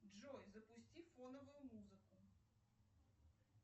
джой запусти фоновую музыку